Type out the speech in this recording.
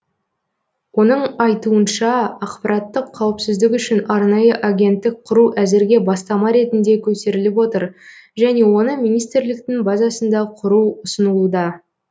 оның айуынша ақпараттық қауіпсіздік үшін арнайы агенттік құру әзірге бастама ретінде көтеріліп отыр және оны министрліктің базасында құру ұсынылуда